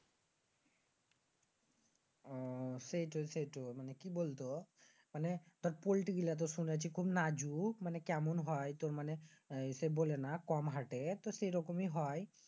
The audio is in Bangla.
আহ সেইটো সেইটো। কি বলত? মানি তুর পল্টি গুলা তো শুনেছি খুব নাজু। মানি কেমন হয়? তুর ইয়ে সে বলেনা তুর হাটেনা। এই রকমই হয়।